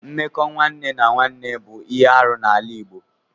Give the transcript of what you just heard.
Mmekọ nwanne na nwanne bụ ihe arụ n'ala Igbo.